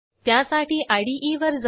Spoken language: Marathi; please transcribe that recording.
त्यासाठी इदे वर जा